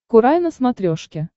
курай на смотрешке